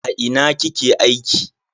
A ina kike aiki?